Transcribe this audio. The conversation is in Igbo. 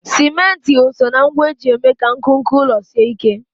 Simenti o soo na ngwa eji eme ka nkuku ụlọ sie ike?